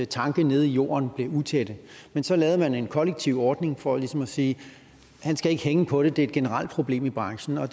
tanke nede i jorden blev utætte men så lavede man en kollektiv ordning for ligesom at sige han skal ikke hænge på det det er et generelt problem i branchen og